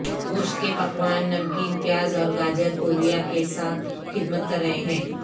گوشت کے پکوان نمکین پیاز اور گاجر کوریا کے ساتھ خدمت کر رہے ہیں